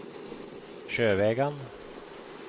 Sjøvegan